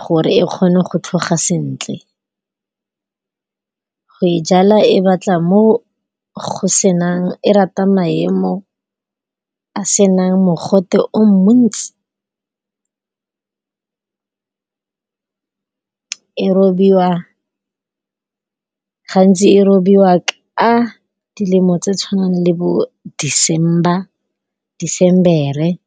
gore e kgone go tlhoga sentle. Go e jala e batla mo go senang, e rata maemo a senang mogote o montsi, E robiwa, gantsi e robiwa ka dilemo tse tshwanang le bo December.